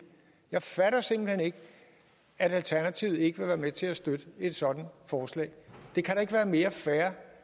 jeg fatter simpelt hen ikke at alternativet ikke vil være med til at støtte et sådant forslag det kan ikke være mere fair